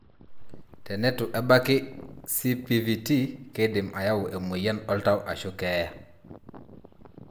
Tenatu ebaki CPVT keidim ayau emoyian oltau ashu keyaa.